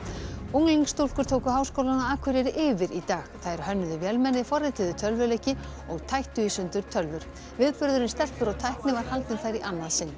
unglingsstúlkur tóku Háskólann á Akureyri yfir í dag þær hönnuðu vélmenni forrituðu tölvuleiki og tættu í sundur tölvur viðburðurinn stelpur og tækni var haldinn þar í annað sinn